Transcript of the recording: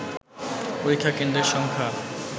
পরীক্ষা কেন্দ্রের সংখ্যা